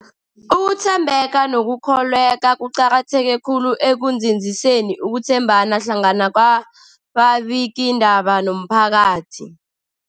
Ukuthembeka nokukholweka kuqakatheke khulu ekunzinziseni ukuthembana hlangana kwababikiindaba nomphakathi.